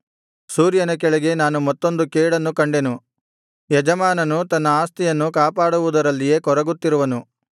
ಸೂರ್ಯನ ಕೆಳಗೆ ನಾನು ಮತ್ತೊಂದು ಕೇಡನ್ನು ಕಂಡೆನು ಯಜಮಾನನು ತನ್ನ ಆಸ್ತಿಯನ್ನು ಕಾಪಾಡುವುದರಲ್ಲಿಯೇ ಕೊರಗುತ್ತಿರುವನು